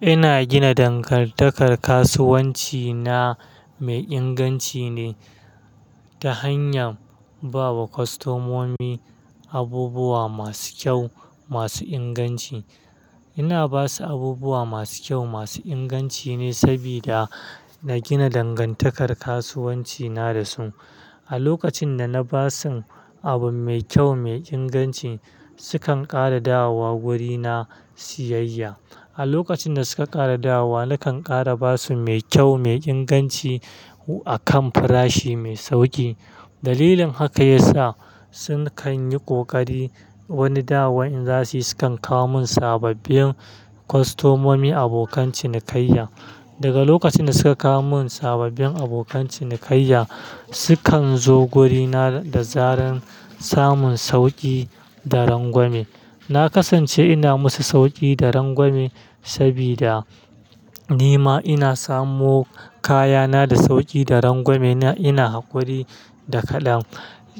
Ina gina dangantakar kasuwanci na mai inganci ne ta hanyar ba wa kwastomomi abubuwa masu kyau, masu inganci. Ina ba su abubuwa masu kyau, masu inganci ne sabida na gina dangantakar kasuwanci na da su. A lokacin da na ba su abu mai kyau, mai inganci, su kan ƙara dawowa wurina siyayya. A lokacin da suka ƙara dawowa, nakan ƙara ba su mai kyau, mai inganci a kan farashi mai sauƙi. Dalilin haka yasa su kan yi ƙoƙari wani dawa in za su yi, su kan kawo mun sababbin kwastomomi, abokan cinikayya. Daga lokacin da suka kawo mun sababbin abokan cinikayya, su kan zo gurina da zaran samun sauƙi da rangwame. Na kasance ina musu sauƙi da rangwame saboda ni ma ina samu kayana da sauƙi da rangwame na ina haƙuri da kaɗan.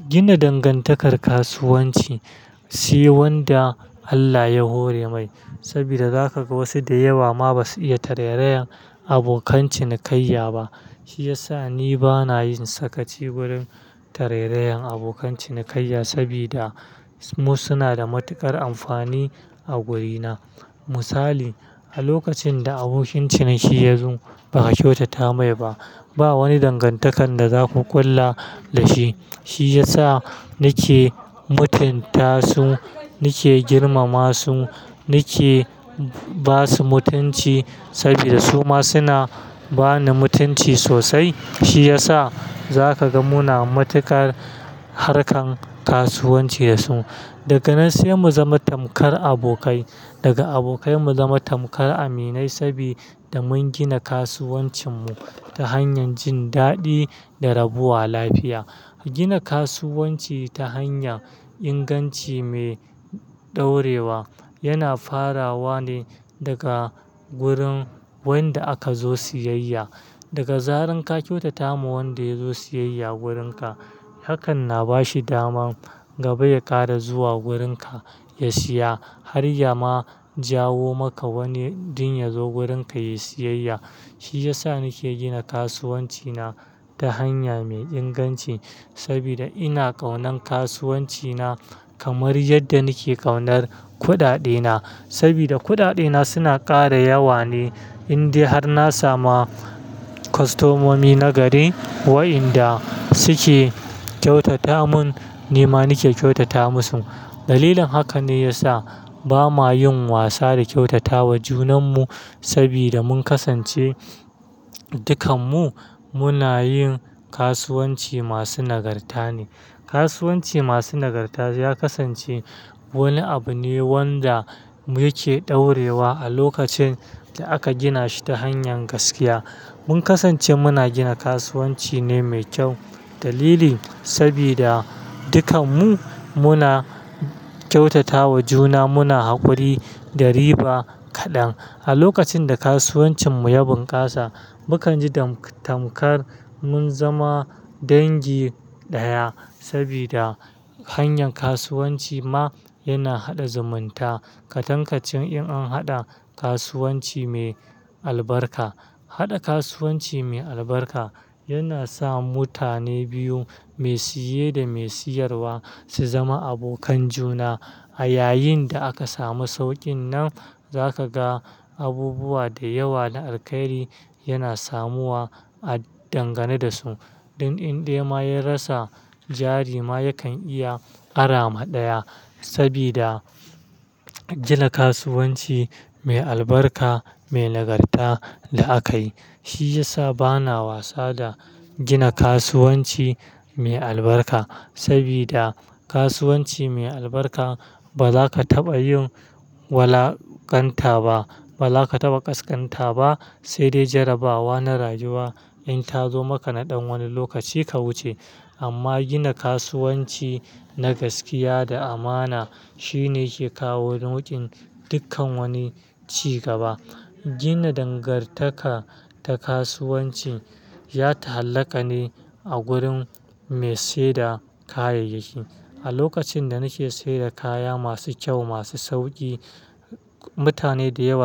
Gina dangantakar kasuwanci shi wanda Allah ya hore mai sabida zaka ga wasu da yawa ma ba su iya tattareyan abokan cinikayya ba. Shi ya sa ni ba na yin sakaci wurin tattareyan abokan cinikayya saboda suma suna da matuƙar amfani a wurina. Misali, a lokacin da abokin ciniki ya zo ba ka kyautata mai ba, ba wani dangantakar da za ku ƙulla da shi. Shi ya sa nake mutunta su, nake girmama su, nake ba su mutunci saboda su ma suna ba ni mutunci sosai. Shi ya sa za ka ga muna matuƙar harkan kasuwanci da su. Daga nan sai mu zama tamkar abokai, daga abokai mu zama tamkar aminai saboda mun gina kasuwancin mu ta hanyar jin daɗi da rabuwa lafiya. A gina kasuwanci ta hanya inganci mai ɗaurewa yana farawa ne daga wurin wanda aka zo siyayya. Daga zaran ka kyautata wa wanda ya zo siyayya wurinka, hakan na ba shi daman gaba ya ƙara zuwa wurinka ya siya har ya ma jawo maka wani ɗin ya zo wurinka yayi siyayya. Shi ya sa nake gina kasuwanci na ta hanya mai inganci sabida ina ƙaunar kasuwanci na kamar yadda nake ƙaunar kuɗaɗena sabida kuɗaɗena suna ƙara yawa ne in dai har na samu kwastomomi nagari waɗanda su ke kyautata mun, ni ma nake kyautata musu. Dalilin haka ne ya sa ba ma yin wasa da kyautata wa junan mu sabida mun kasance dukan mu muna yin kasuwanci masu nagarta ne. Kasuwanci masu nagarta ya kasance wani abu ne wanda muke ɗaurewa a lokacin da aka gina shi ta hanyar gaskiya. Mun kasance muna gina kasuwanci ne mai kyau. Dalilin sabida dukan mu muna kyautata wa juna, muna haƙuri da riba kaɗan. A lokacin da kasuwancin mu ya bunƙasa, mu kan ji tamkar mun zama dangi ɗaya sabida hanyar kasuwanci ma yana haɗa zumunta. Ka tankace in an haɗa kasuwanci mai albarka. Haɗa kasuwanci mai albarka yana sa mutane biyu, mai siye da mai siyarwa su zama abokan juna. A yayin da aka samu sauƙin nan, za ka ga abubuwa da yawa da alkairi yana samuwa a dangane da su. Ɗun in dai ma ya rasa jari ma ya kan iya ƙara maɗaya sabida gina kasuwanci mai albarka, mai nagarta la akai. Shi ya sa ba na wasa da gina kasuwanci mai albarka sabida kasuwanci mai albarka ba za ka taɓa yin walakanta ba, ba za ka taɓa ƙasƙanta ba, sai dai jarrabawa na rayuwa in ta zo maka naɗan wani lokaci ka wuce. Amma gina kasuwanci na gaskiya da amana shi ne yake kawo nukin dukkan wani cigaba. Gina dangantaka ta kasuwanci ya ta hallaka ne a gurin mai saida kayayyaki. A lokacin da nake sayar da kaya masu kyau, masu sauƙi, mutane da yawa.